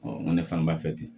n ko ne fana b'a fɛ ten